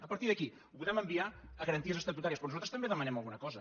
a partir d’aquí ho podem enviar a garanties estatutà·ries però nosaltres també demanem alguna cosa